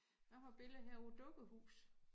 Jeg har et billede her af et dukkehus